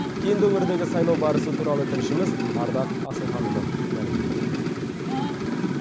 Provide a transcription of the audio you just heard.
кеңді өңіріндегі сайлау барысы туралы тілшіміз ардақ асылханұлы мәлімдейді